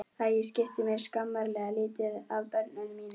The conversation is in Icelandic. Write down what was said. Að ég skipti mér skammarlega lítið af börnum mínum.